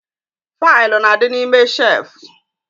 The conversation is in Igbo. Faịlụ n'adi n'ime shelfu